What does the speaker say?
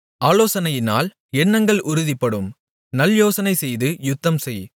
ஆலோசனையினால் எண்ணங்கள் உறுதிப்படும் நல்யோசனை செய்து யுத்தம்செய்